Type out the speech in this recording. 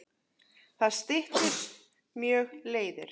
Það styttir mjög leiðir.